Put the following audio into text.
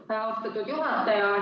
Aitäh, austatud juhataja!